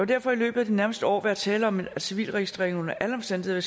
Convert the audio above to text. derfor i løbet af de nærmeste år være tale om at civilregistreringen under alle omstændigheder